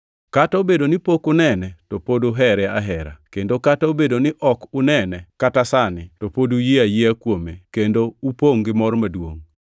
Kata obedo ni pok unene to pod uhere ahera kendo kata obedo ni ok unene kata sani to pod uyie ayiea kuome kendo upongʼ gi mor maduongʼ.